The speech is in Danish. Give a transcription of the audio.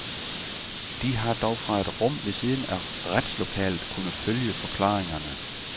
De har dog fra et rum ved siden af retslokalet kunne følge forklaringerne.